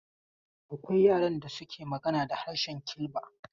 Akwai yaran da suke magana da harshen Kilba.